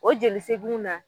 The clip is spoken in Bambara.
O jeliseginw na